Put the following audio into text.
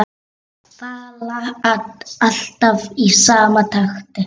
Falla alltaf í sama takti.